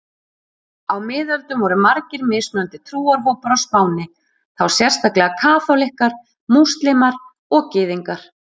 Á miðöldum voru margir mismunandi trúarhópar á Spáni, þá sérstaklega kaþólikkar, múslímar og gyðingar.